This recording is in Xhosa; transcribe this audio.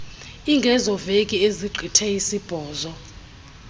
ingezoveki ezigqithe isibhozo